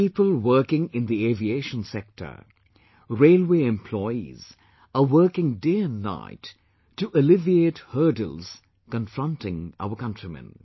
People working in the aviation sector, Railway employees are working day and night to alleviate hurdles confronting our countrymen